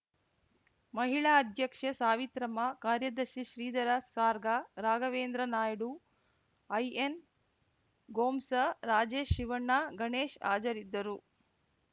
ಮಹಿಳಾ ಅಧ್ಯಕ್ಷೆ ಸಾವಿತ್ರಮ್ಮ ಕಾರ್ಯದರ್ಶಿ ಶ್ರೀಧರ ಸಾರ್ಗ ರಾಘವೇಂದ್ರ ನಾಯ್ಡು ಐಎನ್‌ಗೋಮ್ಸ್‌ ರಾಜೇಶ್‌ ಶಿವಣ್ಣ ಗಣೇಶ್‌ ಹಾಜರಿದ್ದರು